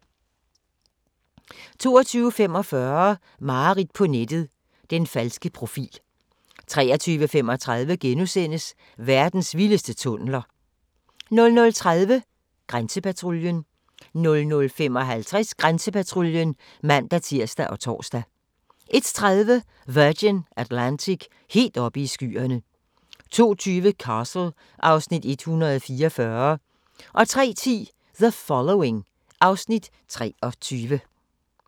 22:45: Mareridt på nettet - den falske profil 23:35: Verdens vildeste tunneler * 00:30: Grænsepatruljen 00:55: Grænsepatruljen (man-tir og tor) 01:30: Virgin Atlantic - helt oppe i skyerne 02:20: Castle (Afs. 144) 03:10: The Following (Afs. 23)